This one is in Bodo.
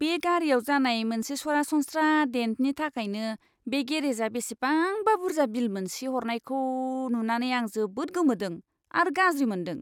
बे गारिआव जानाय मोनसे सरासनस्रा डेन्टनि थाखायनो बे गेरेजा बेसेबांबा बुर्जा बिल मोनसे हरनायखौ नुनानै आं जोबोद गोमोदों आरो गाज्रि मोनदों।